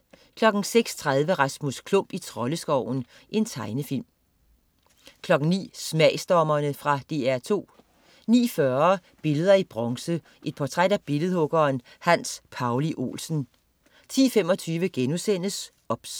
06.30 Rasmus Klump i Troldeskoven. Tegnefilm 09.00 Smagsdommerne. Fra DR2 09.40 Billeder i bronze. Et portræt af billedhuggeren Hans Pauli Olsen 10.25 OBS*